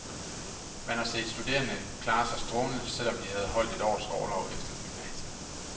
Man har set studerende klare sig strålende, selv om de havde holdt et års orlov efter gymnasiet.